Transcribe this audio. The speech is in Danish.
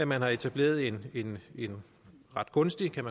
man har etableret en en ret gunstig kan